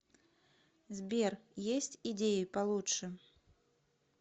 сбер есть идеи получше